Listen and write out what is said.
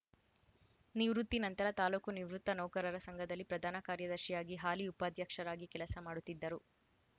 ನಿವೃತ್ತಿ ನಂತರ ತಾಲೂಕು ನಿವೃತ್ತ ನೌಕರರ ಸಂಘದಲ್ಲಿ ಪ್ರಧಾನ ಕಾರ್ಯದರ್ಶಿಯಾಗಿ ಹಾಲಿ ಉಪಾಧ್ಯಕ್ಷರಾಗಿ ಕೆಲಸ ಮಾಡುತ್ತಿದ್ದರು